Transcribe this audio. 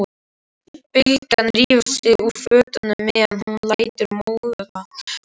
Bylgja rífur sig úr fötunum meðan hún lætur móðan mása.